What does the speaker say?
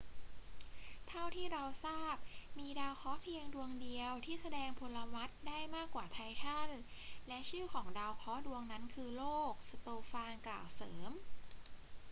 เท่าที่เราทราบ มีดาวเคราะห์เพียงดวงเดียวที่แสดงพลวัตได้มากกว่าไททัน และชื่อของดาวเคราะห์ดวงนั้นคือโลก สโตฟานกล่าวเสริม